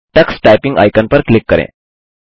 Tux typing icon पर click करें